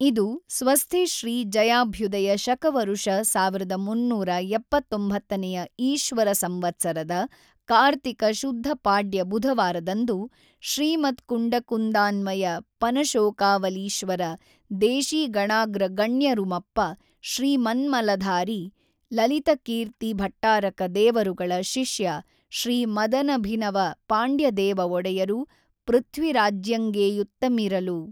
ಇದು ಸ್ವಸ್ಥಿ ಶ್ರೀ ಜಯಾಭ್ಯುಧಯ ಶಕವರುಷ ೧೩೭೯ನೆಯ ಈಶ್ವರ ಸಂವತ್ಸರದ ಕಾರ್ತಿಕ ಶುದ್ಧ ಪಾಡ್ಯ ಬುಧವಾರದಂದು ಶ್ರೀ ಮತ್ಕುಂಡಕುಂದಾನ್ವಯ ಪನಶೋಕಾವಲೀಶ್ವರ ದೇಶಿಗಣಾಗ್ರಗಣ್ಯರುಮಪ್ಪ ಶ್ರೀ ಮನ್ಮಲಧಾರಿ ಲಲಿತಕೀರ್ತಿ ಭಟ್ಟಾರಕ ದೇವರುಗಳ ಶಿಷ್ಯ ಶ್ರೀ ಮದನಭಿನವ ಪಾಂಡ್ಯದೇವ ಒಡೆಯರು ಪೃಥ್ವಿರಾಜ್ಯಂಗೇಯುತ್ತಮಿರಲು.